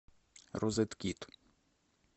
розеткид